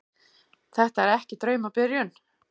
Þetta er ekki draumabyrjun.